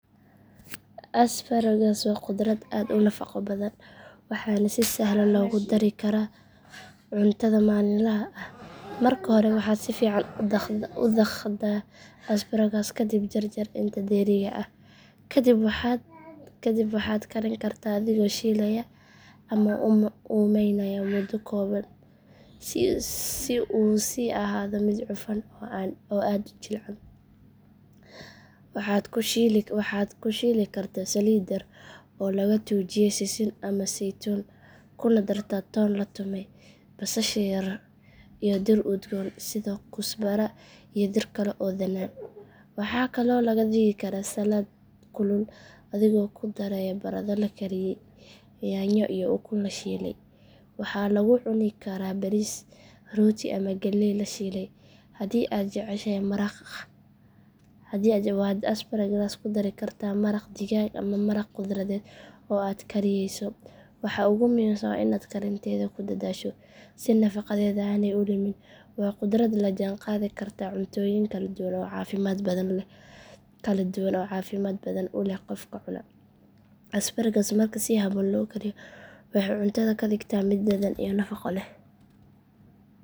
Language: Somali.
Asparagus waa khudrad aad u nafaqo badan waxaana si sahlan loogu dari karaa cuntada maalinlaha ah. Marka hore waxaad si fiican u dhaqdaa asparagus ka dibna jar jar inta dheeriga ah. Kadib waxaad karin kartaa adigoo shiilaya ama uumaynaya muddo kooban si uu u sii ahaado mid cufan oo aan aad u jilcin. Waxaad ku shiili kartaa saliid yar oo laga tuujiyay sisin ama saytuun kuna dartaa toon la tumay, basasha yar iyo dhir udgoon sida kusbara iyo dhir kale oo dhanaan. Waxaa kaloo laga dhigi karaa salad kulul adigoo ku daraya baradho la kariyay, yaanyo iyo ukun la shiilay. Waxaa lagu cuni karaa bariis, rooti ama galey la shiilay. Haddii aad jeceshahay maraq waxaad asparagus ku dari kartaa maraq digaag ama maraq khudradeed oo aad kariyeyso. Waxa ugu muhiimsan waa inaad karinteeeda ku dadaasho si nafaqadeeda aanay u lumin. Waa khudrad la jaan qaadi karta cuntooyin kala duwan oo caafimaad badan u leh qofka cuna. Asparagus marka si habboon loo kariyo waxay cuntada ka dhigtaa mid dhadhan iyo nafaqo leh.